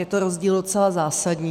Je to rozdíl docela zásadní.